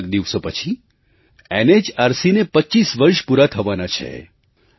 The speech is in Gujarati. કેટલાક દિવસો પછી NHRCને ૨૫ વર્ષ પૂરાં થવાનાં છે